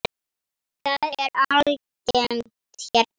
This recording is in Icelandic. Það er algengt hérna.